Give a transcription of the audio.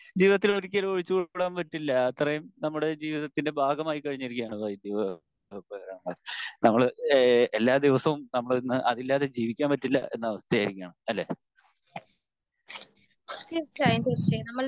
ജീവിതത്തിൽ ഒരിക്കലും ഒഴിച്ച് കൂടാൻ പറ്റില്ല അത്രേം നമ്മുടെ ജീവിതത്തിൻ്റെ ഭാഗം ആയിക്കഴിഞ്ഞിരിക്കുകയാണ് വൈദ്യുതോപകരണങ്ങൾ നമ്മൾ ഏഹ് എല്ലാ ദിവസവും നമ്മൾ അതില്ലാതെ ജീവിക്കാൻ പറ്റില്ല എന്ന അവസ്ഥ ആയിരിക്കാണ് അല്ലെ